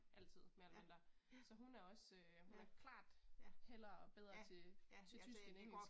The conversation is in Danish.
Altid mere eller mindre. Så hun er også, hun er klart hellere bedre til til tysk end engelsk